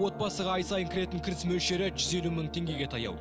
отбасыға ай сайын кіретін кіріс мөлшері жүз елу мың теңгеге таяу